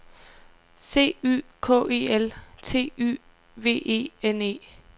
C Y K E L T Y V E N E